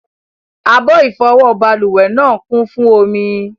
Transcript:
Abọ́ ìfọwọ́ balùwẹ̀ náà ń kún fún omi.